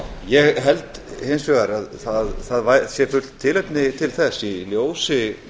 ég held hins vegar að það sé fullt tilefni til þess í ljósi